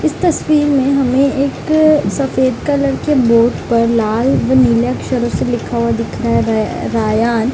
इस तस्वीर में हमें एक सफेद कलर के बोर्ड पर लाल व नीले अक्षरों से लिखा हुआ दिख --